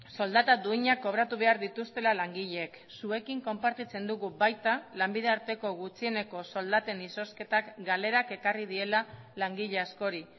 soldata duinak kobratu behar dituztela langileek zuekin konpartitzen dugu baita lanbide arteko gutxieneko soldaten izozketak galerak ekarri diela langile askori